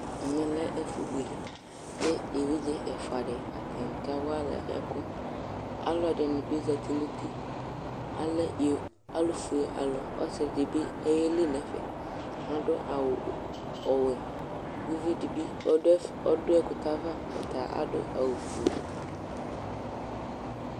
Ɛmɛ lɛ ɛfubuele Ku eʋiɖze ɛfaɖi, atani kawa alɛ ɛku Ãluɛdini bi zãti nu ũtí Alɛ i, alufuealu ɔsiɖi bi ɔyeli nu ɛfɛ Aɖu awu ɔwɛ Ku uʋiɖi bi ɔɖu ɛƒ, ɔɖu ɛkuyɛ ava Ɔta aɖu awu fue